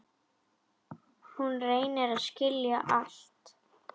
Hún reynir að skilja allt.